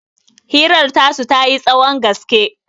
hirar tasu ta yi tsahon gaske